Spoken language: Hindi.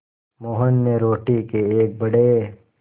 मोहन ने रोटी के एक बड़े